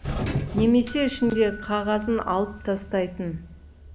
немесе ішіндегі қағазын алып тастайтын